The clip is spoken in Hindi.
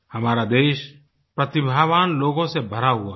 हमारा देश प्रतिभावान लोगों से भरा हुआ है